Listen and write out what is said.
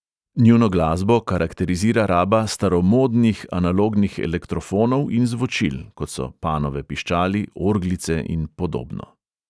Njuno glasbo karakterizira raba "staromodnih", analognih elektrofonov in zvočil (kot so panove piščali, orglice in podobno).